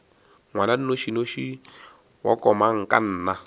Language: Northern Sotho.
ngwana a nnošinoši wa komangkanna